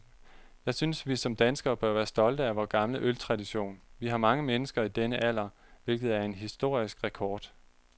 Jeg synes, vi som danskere bør være stolte af vor gamle øltradition. Vi har mange mennesker i denne alder, hvilket er en historisk rekord.